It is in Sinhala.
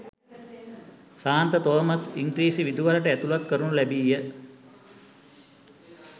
සාන්ත තෝමස් ඉංගී්‍රසි විදුහලට ඇතුළත් කරනු ලැබීය.